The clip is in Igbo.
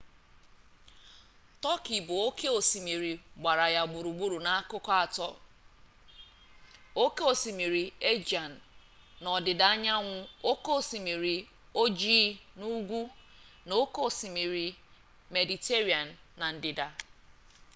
tọkị bụ oke osimiri gbara ya gburugburu n'akụkụ atọ oke osimiri aegean n'ọdịdaanyanwụ oke osimiri ojii n'ugwu na oke osimiri mediterranean na ndịda